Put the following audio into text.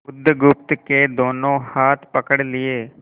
बुधगुप्त के दोनों हाथ पकड़ लिए